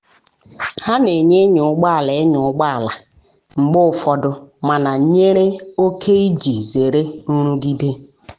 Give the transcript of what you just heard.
ha na enye ịnya ụgbọ ala ịnya ụgbọ ala um mgbe ụfọdụ mana nyere oke iji um zere nrụgide.